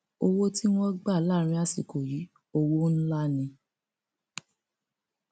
owó tí wọn gbà láàrin àsìkò yìí owó ńlá ni